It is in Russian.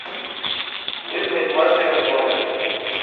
вызвать мастера в номер